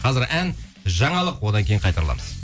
қазір ән жаңалық одан кейін қайта ораламыз